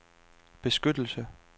beskyttelse